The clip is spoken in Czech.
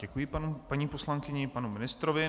Děkuji paní poslankyni i panu ministrovi.